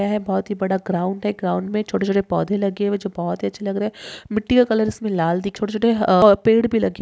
है बहुत ही बड़ा ग्राउंड है ग्राउंड में छोटे छोटे पौधे लगे हुए जो बहोत ही अच्छे लग रहे है मिट्टी का कलर इसमें लाल दिख छोटे छोटे अ पेड़ भी लगे --